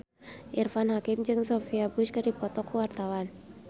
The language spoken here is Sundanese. Irfan Hakim jeung Sophia Bush keur dipoto ku wartawan